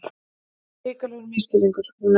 Þetta var hrikalegur misskilningur!